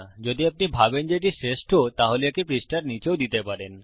যদি আপনি ভাবেন যে এটি শ্রেষ্ট তাহলে একে পৃষ্ঠার নীচেও দিতে পারেন